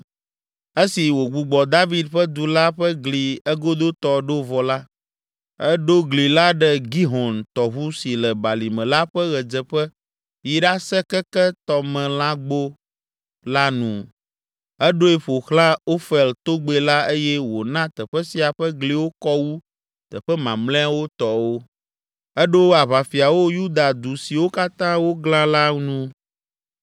Esi wògbugbɔ David ƒe Du la ƒe gli egodotɔ ɖo vɔ la, eɖo gli la ɖe Gihon tɔʋu si le balime la ƒe ɣedzeƒe yi ɖase keke Tɔmelãgbo la nu, eɖoe ƒo xlã Ofel togbɛ la eye wòna teƒe sia ƒe gliwo kɔ wu teƒe mamlɛawo tɔwo. Eɖo aʋafiawo Yuda du siwo katã wòglã la nu.